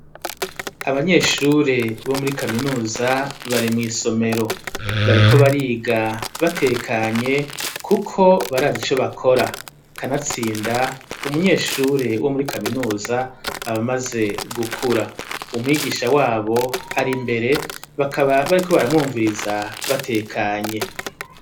Abanyeshure bo muri kaminuza bari mw' isomero, bariko bariga batekanye kuko barazi ico bakora kanatsinda umunyeshure wo muri kaminuza abamaze gukura ,umwigisha wabo ari mbere bakaba bariko baramwumviriza batekanye.